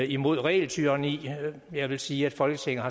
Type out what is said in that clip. imod regeltyranni jeg vil sige at folketinget